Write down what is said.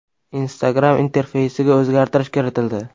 Instagram interfeysiga o‘zgartirish kiritildi.